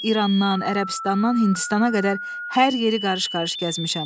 Mən İrandan, Ərəbistandan, Hindistana qədər hər yeri qarış-qarış gəzmişəm.